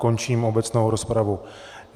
Končím obecnou rozpravu.